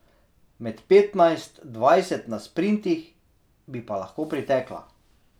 Med petnajst, dvajset na sprintih bi pa lahko pritekla.